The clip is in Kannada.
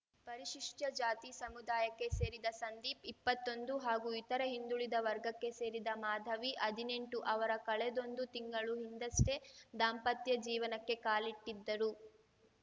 ಪರಿಶಿಷ್ಟಜಾತಿ ಸಮುದಾಯಕ್ಕೆ ಸೇರಿದ ಸಂದೀಪ್‌ಇಪ್ಪತ್ತೊಂದು ಹಾಗೂ ಇತರೆ ಹಿಂದುಳಿದ ವರ್ಗಕ್ಕೆ ಸೇರಿದ ಮಾಧವಿಹದ್ನೆಂಟು ಅವರು ಕಳೆದೊಂದು ತಿಂಗಳು ಹಿಂದಷ್ಟೇ ದಾಂಪತ್ಯ ಜೀವನಕ್ಕೆ ಕಾಲಿಟ್ಟಿದ್ದರು